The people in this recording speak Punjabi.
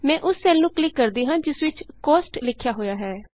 ਮੈਂ ਉਸ ਸੈੱਲ ਨੂੰ ਕਲਿਕ ਕਰਦੀ ਹਾਂ ਜਿਸ ਵਿਚ ਕੌਸਟ ਕੋਸਟ ਲਿਖਿਆ ਹੋਇਆ ਹੈ